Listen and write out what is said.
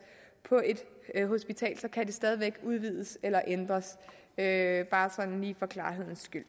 på et hospital kan det stadig væk udvides eller ændres det er bare sådan lige for klarhedens skyld